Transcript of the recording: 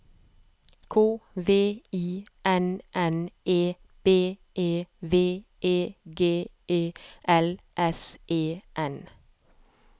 K V I N N E B E V E G E L S E N